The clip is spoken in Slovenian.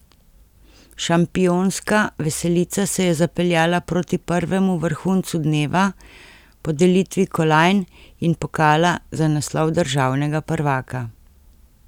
Šampionska veselica se je zapeljala proti prvemu vrhuncu dneva, podelitvi kolajn in pokala za naslov državnega prvaka.